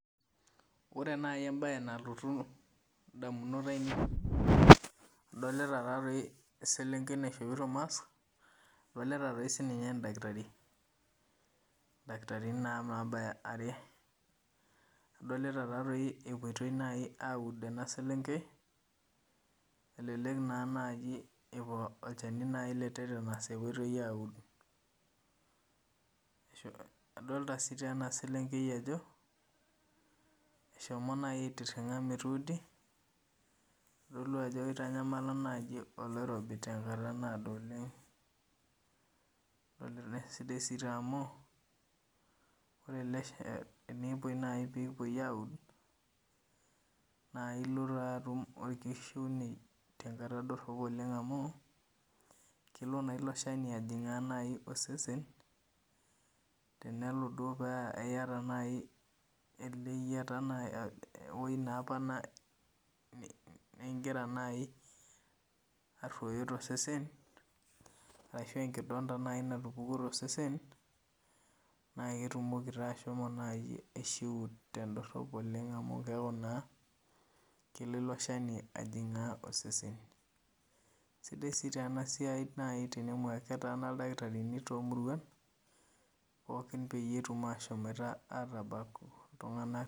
Ore nai embae nalotu ndamunot ainei adolta taatoi eselenkei naishopito mask adolta sininye endakitarini nabaya are adolta taatoi epoitoi aud enaselenkei ebaki nai na olchami le tetenas epoitoi aud ashu adolta enaselenkei nashomo nai aitiringa metuudi adolta ajo itanyamala tenkata naado oleng ore ele ore tenepoi nai pekipuoi aaud nailonarum orkishiunye tenkata dorop amu kelo olchani ajingaa osesen tenilo nai ewoi naapa nigira nai aroyo tosesen ashu enkidonda nai natupukuo tosesen na ketumoki ashomo aishiu tendorop oleng amu kelo ilo shani ajingaa osesen esidai si enasiai tenemut aketaana ildakitarini temurua pooki petum ashomo atabak ltunganak